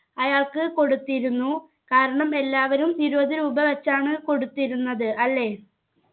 അയാൾക്ക് കൊടുത്തിരുന്നു കാരണം എല്ലാവരും ഇരുപത് രൂപ വെച്ചാണ് കൊടുത്തിരുന്നത് അല്ലെ